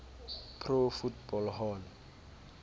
pro football hall